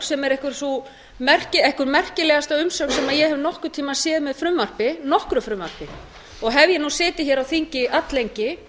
sem er einhver merkilegasta umsögn sem ég hef nokkurn tíma séð með nokkru frumvarpi og hef ég setið hér á þingi alllengi